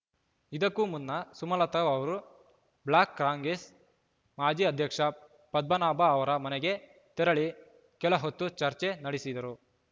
ಇದಕ್ಕೂ ಮುನ್ನ ಸುಮಲತಾ ಅವರು ಬ್ಲಾಕ್ ಕಾಂಗೆಸ್ ಮಾಜಿ ಅಧ್ಯಕ್ಷ ಪದ್ಮನಾಭ ಅವರ ಮನೆಗೆ ತೆರಳಿ ಕೆಲಹೊತ್ತು ಚರ್ಚೆ ನಡೆಸಿದರು